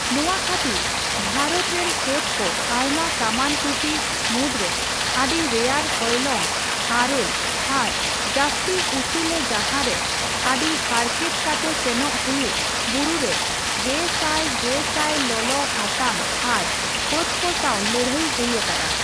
ᱱᱚᱣᱟ ᱠᱷᱟᱹᱛᱤᱨ, ᱵᱷᱟᱨᱚᱛ ᱨᱮᱱ ᱯᱷᱟᱹᱫᱽᱠᱚ ᱟᱭᱢᱟ ᱠᱟᱢᱟᱱ ᱴᱩᱴᱤ ᱢᱤᱩᱫᱨᱮ ᱟᱹᱰᱤ ᱨᱮᱭᱟᱲ ᱦᱚᱭᱞᱚᱝ, ᱟᱨᱮᱹᱞ ᱟᱨ ᱡᱟᱹᱥᱛᱤ ᱩᱥᱩᱞᱨᱮ ᱡᱟᱸᱦᱟᱨᱮ ᱟᱹᱰᱤ ᱦᱟᱨᱠᱮᱛ ᱠᱟᱛᱮ ᱥᱮᱱᱚᱜ ᱦᱩᱭᱩᱜ ᱵᱩᱨᱩᱨᱮ ᱜᱮ ᱥᱟᱭ ᱜᱮ ᱥᱟᱭ ᱞᱚᱞᱚ ᱦᱟᱛᱟᱝ ᱟᱨ ᱯᱷᱟᱹᱫᱽ ᱠᱚ ᱥᱟᱣ ᱞᱟᱹᱲᱦᱟᱹᱭ ᱦᱩᱭ ᱟᱠᱟᱱᱟ ᱾